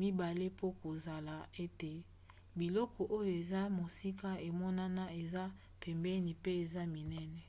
mibale mpo kosala ete biloko oyo eza mosika emonana eza pembeni mpe eza minene